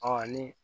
ni